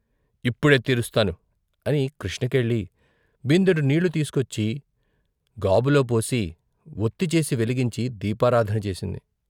ఇప్పుడే తీరు స్తాను " అని కృష్ణకెళ్ళి బిందెడు నీళ్ళు తీసుకొచ్చి గాబులోపోసి వొత్తి చేసి వెలిగించి దీపారాధన చేసింది.